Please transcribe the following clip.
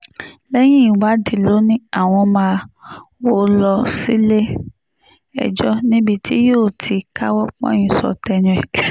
lẹ́yìn ìwádìí ló ní àwọn máa wọ́ ọ lọ sílé-ẹjọ́ níbi tí yóò ti káwọ́ pọ̀nyìn sọ tẹnu ẹ̀